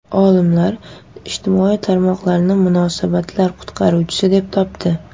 Olimlar ijtimoiy tarmoqlarni munosabatlar qutqaruvchisi deb topdi.